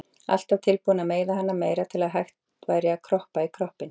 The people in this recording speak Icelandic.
Alltaf tilbúin að meiða hana meira til að hægt væri að krukka í kroppinn.